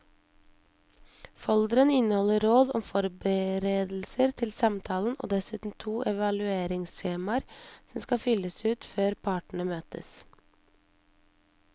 Folderen inneholder råd om forberedelser til samtalen og dessuten to evalueringsskjemaer som skal fylles ut før partene møtes.